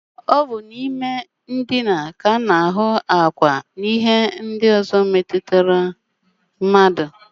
Ọ bụ n'ime ụlọndina ka a na-ahụ ákwà ndina, nkọ ákwá, na ihe ndị ọzọ metụtara mmadụ